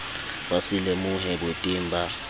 ba se lemohe boteng ba